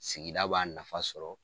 Sigida b'a nafa sɔrɔ.